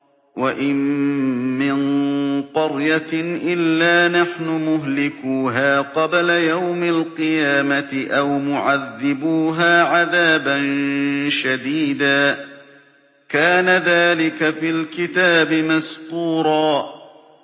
وَإِن مِّن قَرْيَةٍ إِلَّا نَحْنُ مُهْلِكُوهَا قَبْلَ يَوْمِ الْقِيَامَةِ أَوْ مُعَذِّبُوهَا عَذَابًا شَدِيدًا ۚ كَانَ ذَٰلِكَ فِي الْكِتَابِ مَسْطُورًا